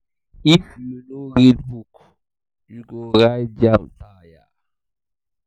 if you no read book you go write jamb tire.